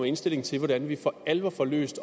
indstilling til hvordan vi for alvor får løst